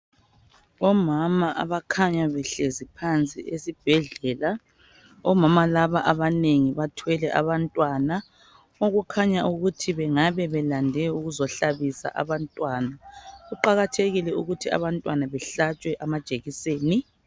Omama abakhanya behlezi phansi esibhedlela. Omama laba abanengi bathwele abantwana. Okukhanya ukuthi bengabe belande ukuzahlabisa abantwana. Kuqakathekile ukuthi abantwana bahlatshwe amajekiseni.